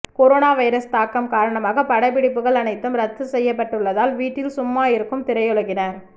corona virus தாக்கம் காரணமாக படப்பிடிப்புகள் அனைத்தும் ரத்து செய்யப்பட்டுள்ளதால் வீட்டில் சும்மா இருக்கும் திரையுலகினர்